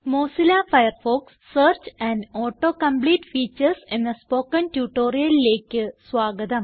Mozilla Firefox search and auto complete features എന്ന spoken tutorialലേയ്ക്ക് സ്വാഗതം